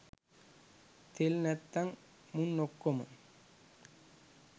තෙල් නැත්තන් මුන් ඔක්කොම